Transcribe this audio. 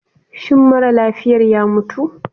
Shin mara lafiyar ya mutu?